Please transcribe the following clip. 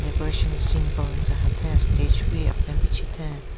Decoration simple ntsa hatheng stage wi pichitheng.